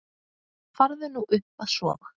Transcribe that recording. Farðu nú upp að sofa.